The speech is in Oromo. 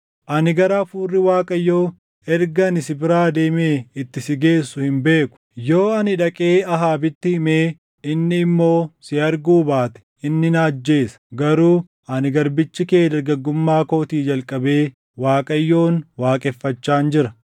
Ani gara Hafuurri Waaqayyoo erga ani si biraa deeme itti si geessu hin beeku. Yoo ani dhaqee Ahaabitti himee inni immoo si arguu baate inni na ajjeesa. Garuu ani garbichi kee dargaggummaa kootii jalqabee Waaqayyoon waaqeffachaan jira.